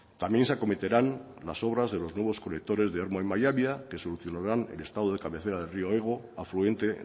también se acometerán las obras de los nuevos colectores de ermua en mallabia que solucionarán el estado de cabecera del rio ego afluente